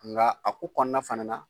Nka a ko kɔnɔna fana na